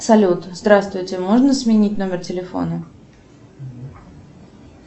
салют здравствуйте можно сменить номер телефона